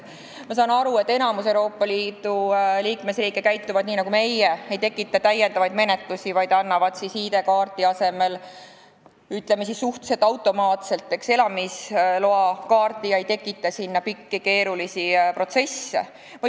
Ma saan aru, et enamik Euroopa Liidu riike käitub nii nagu meie – ei tekita lisamenetlusi, vaid annab ID-kaardi asemele, ütleme, suhteliselt automaatselt elamisloakaardi ega tekita mingeid pikki keerulisi protsesse.